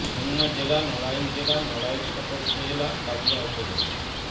খুলনা জেলা নড়াইল জেলা নড়াইল সদর উপজেলা কালিয়া উপজেলা